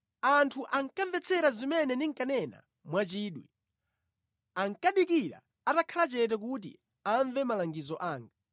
“Anthu ankamvetsera zimene ndinkanena mwachidwi, ankadikira atakhala chete kuti amve malangizo anga.